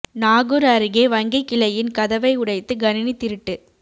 நாகூா் அருகே வங்கி கிளையின் கதவை உடைத்து கணினி திருட்டு